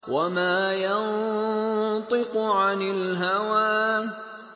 وَمَا يَنطِقُ عَنِ الْهَوَىٰ